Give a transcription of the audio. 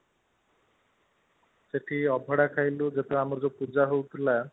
ସେଠି ଅବଢା ଖାଇଲୁ ସେଠି ଆମର ଯୋଉ ପୂଜା ହୋଉଥିଲା